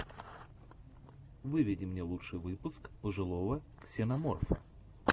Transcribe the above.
выведи мне лучший выпуск пожилого ксеноморфа